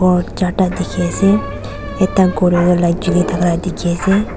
ghor charta dikhi ase ekta ghor tey tu light julai thaka dikhi ase.